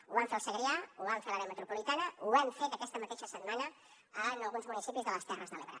ho vam fer al segrià ho vam fer a l’àrea metropolitana ho hem fet aquesta mateixa setmana en alguns municipis de les terres de l’ebre